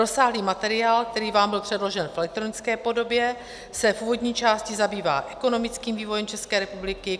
Rozsáhlý materiál, který vám byl předložen v elektronické podobě, se v úvodní části zabývá ekonomickým vývojem České republiky.